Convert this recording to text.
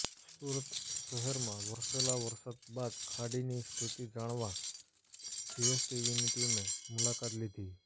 સુરત શહેરમાં વરસેલા વરસાદ બાદ ખાડીની સ્થિતિ જાણવા જીએસટીવીની ટીમે મુલાકાત લીધી